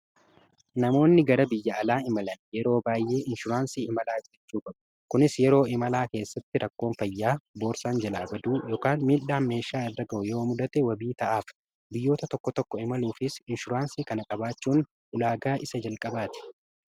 namoonni gara biyya'alaa imalan yeroo baay'ee inshuraansii imalaa giichuu babu kunis yeroo imalaa keessatti rakkoon fayyaa boorsaan jilaa baduu miildhaan meeshaa irraga'u yoo mudate wabii ta'aaf biyyoota tokko tokko imaluufis inshuraansii kana qabaachuun ulaagaa isa jalqabaati